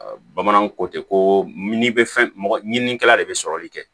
bamananw ko ten ko n'i bɛ fɛn mɔgɔ ɲininikɛla de bɛ sɔrɔli kɛ